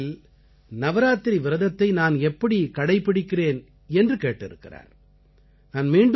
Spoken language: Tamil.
இந்தச் சூழ்நிலைகளில் நவராத்திரி விரதத்தை நான் எப்படி கடைப்பிடிக்கிறேன் என்று கேட்டிருக்கிறார்